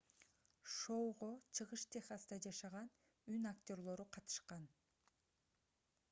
шоуго чыгыш техаста жашаган үн актёрлору катышкан